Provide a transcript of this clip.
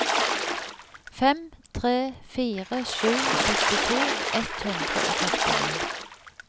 fem tre fire sju sekstito ett hundre og førtini